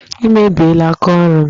Ị mebiela aka ọrụ m!